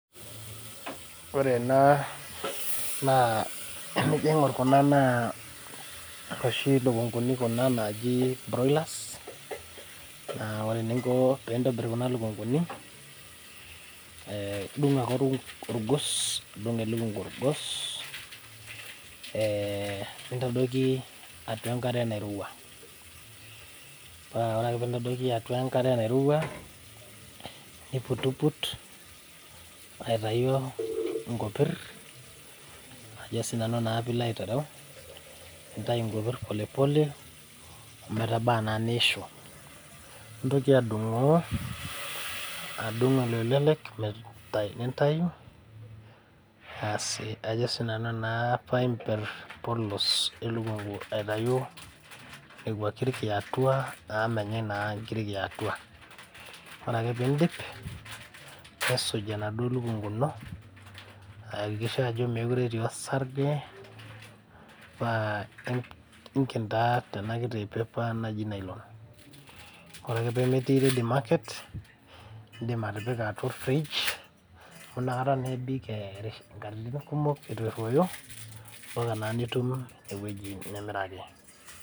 Ore ena naa enajo aing'orr kuna naa inoshi lukunguini kuna naaji broilers naa ore eninko pintobirr kuna lukunguni eh idung ake orgos nidung elukungu orgos eh nintadoiki atua enkare nairowua paa ore ake pintadoiki atua enkare nairowua niputuput aitayu inkopirr ajo sinanu naa pilo aitereu nintayu inkopirr pole pole ometaba anaa niishu nintoki adung'oo edung iloelelek met nintayu asi ajjo sinanu naa paimperr polos elukungu aitayu nekua kirik yiatua amu menyae naa inkirik yiatua ore ake pindip nisuj enaduo lukungu ino ayakikisha ajo mekure etii osarge paa inken taa tena kiti paper naji nylon ore ake pemetii ready market indim atipika atua or fridge amu inakata naa ebik erish inkatitin kumok etu erruoyo mpaka naa nitum ewueji nimiraki.